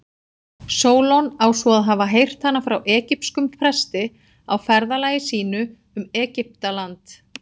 Sólon á svo að hafa heyrt hana frá egypskum presti á ferðalagi sínu um Egyptaland.